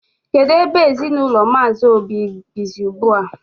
Kedụ ebe ezinụlọ Mmazi Obi bizi ugbua?